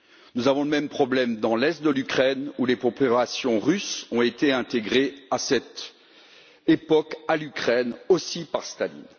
Nous avons le même problème dans l'est de l'Ukraine, où les populations russes ont été intégrées, à cette époque, à l'Ukraine, aussi par Staline.